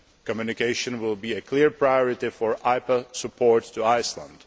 Communication will be a clear priority for IPA support to Iceland.